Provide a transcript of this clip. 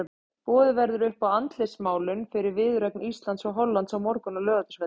Boðið verður upp á andlitsmálun fyrir viðureign Íslands og Hollands á morgun á Laugardalsvelli.